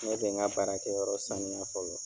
Ne bɛ n ka baarakɛyɔrɔ saniya fɔlɔ